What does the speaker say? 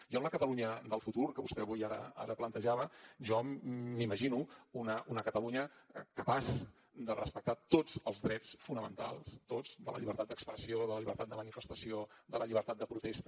jo en la catalunya del futur que vostè avui ara plantejava jo m’imagino una catalunya capaç de respectar tots els drets fonamentals tots de la llibertat d’expressió de la llibertat de manifestació de la llibertat de protesta